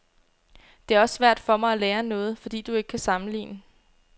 Det er også svært for mig at lære noget, fordi du ikke kan sammenligne.